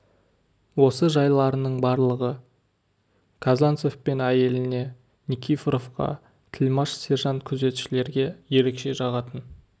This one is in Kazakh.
осы жайларының барлығы казанцев пен әйеліне никифоровқа тілмаш сержант күзетшілерге ерекше жағатын